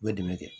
U bɛ dɛmɛ kɛ